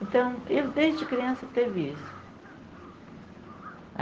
Então, eu desde criança tive isso.